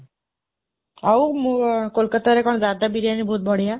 ଆଉ, ମୁଁ, କୋଲକତାରେ କଣ ଜାରଦା ବିରିୟାନୀ ବହୁତ ବଡ଼ିଆ।